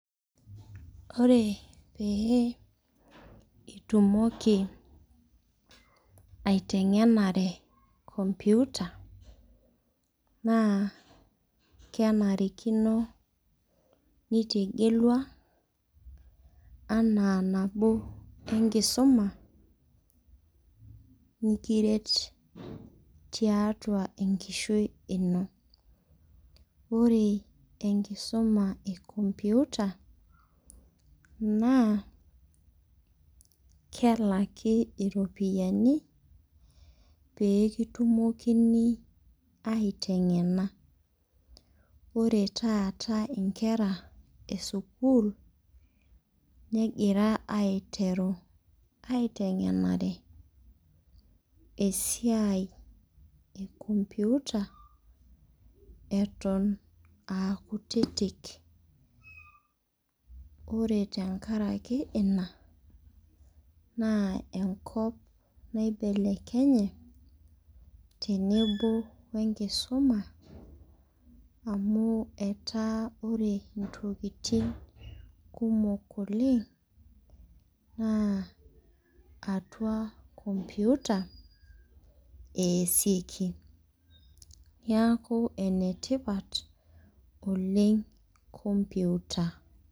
Ore pee itumoki aiteng'enare computer, naa kenarikino nitegelua anaa nabo enkisuma, nikiret tiatua enkishoi ino. Ore enkisuma e computer, naa kelaki iropiyiani pee kitumokini aiteng'ena. Ore taata inkera esukuul, negira aiteru aiteng'enare esiai e computer, eton akutitik. Ore tenkaraki ina, naa enkop naibelekenye, tenebo wenkisuma, amu etaa ore intokiting kumok oleng, naa atua computer eesieki. Niaku enetipat oleng computer.